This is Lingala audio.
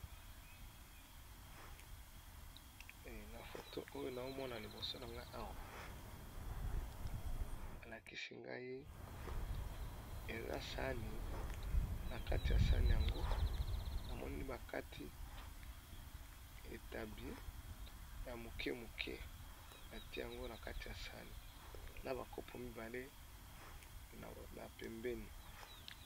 Na foto oyo naomona liboso na nga awa balakisi ngai eza sani na kati ya sani yango namoni bakati etabi ya moke moke batie yango na kati ya sani na ba kopo mibale na pembeni.